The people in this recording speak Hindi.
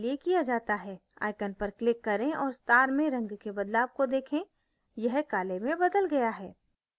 icon पर click करें और star में रंग के बदलाव को देखें यह काले में बदल गया है